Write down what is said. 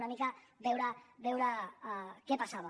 una mica veure què passava